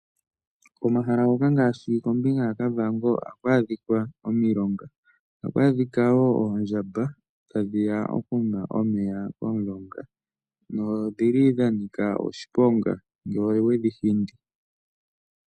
Komahala ngoka ngaashi kombinga yaKavango ohaku adhika omilonga. Ohaku adhika wo oondjamba tadhi ya okunwa omeya komulonga nodhi li dha nika oshiponga ngele owedhi hindi.